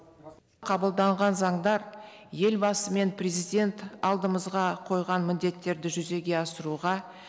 қабылданған заңдар елбасы мен президент алдымызға қойған міндеттерді жүзеге асыруға